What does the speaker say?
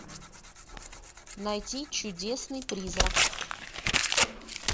найти чудесный призрак